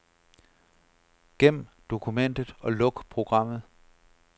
Gem dokumentet og luk programmet.